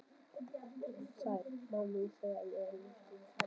Sæl mamma mín, segi ég og lýt yfir hana.